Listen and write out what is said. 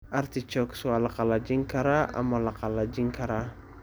Artichokes waa la qallajin karaa ama la qalajin karaa.